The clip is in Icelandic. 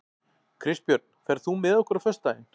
Kristbjörn, ferð þú með okkur á föstudaginn?